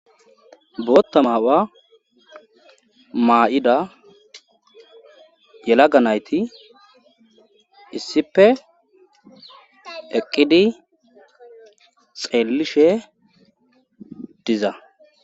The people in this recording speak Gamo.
Bootta ma7uwa maa7ida yalaga nayti issippe eqqqidi xeelishe diza.